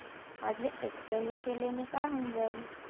माझ्या एकट्याने केल्याने काय होऊन जाईल